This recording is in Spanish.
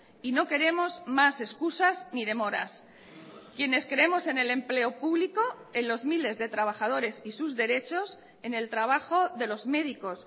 y no queremos más excusas ni demoras quienes creemos en el empleo público en los miles de trabajadores y sus derechos en el trabajo de los médicos